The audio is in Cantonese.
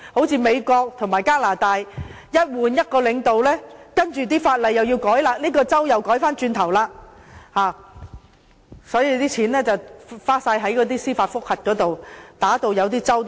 正如美國和加拿大，一旦更換領導，便要修改法例，例如這個州又要改回原來的樣子，於是錢便全部花在司法覆核上，一些州份打官司也打到窮。